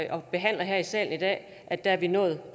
og behandler her i salen i dag er vi nået